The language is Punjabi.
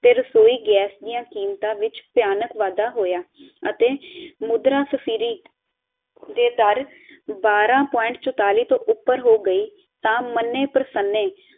ਤੇ ਰਸੋਈ ਗੈਸ ਦੀ ਕੀਮਤਾਂ ਵਿੱਚ ਭਿਆਨਕ ਵਾਧਾ ਹੋਇਆ ਅਤੇ ਮੁਦਰਾ ਸਫਿਰਿਟ ਦੇ ਦਰ ਬਾਰ੍ਹਾਂ ਪੁਆਇੰਟ ਚੋਤਾਲੀ ਤੋਂ ਉੱਪਰ ਹੋ ਗਈ ਤਾ ਮਨੇ ਪ੍ਰਸਨੇ